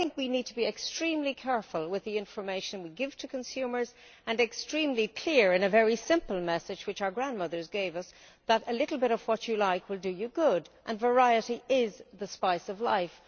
So I think we need to be extremely careful with the information we give to consumers and extremely clear in a very simple message, which our grandmothers gave us, that a little bit of what you like will do you good and variety is the spice of life.